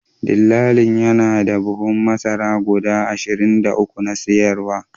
Dillalin yana da buhunan masara guda ashirin da uku na sayaruwa